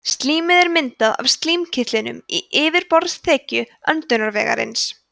slímið er myndað af slímkirtlum í yfirborðsþekju öndunarvegarins